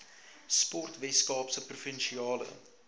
sport weskaapse provinsiale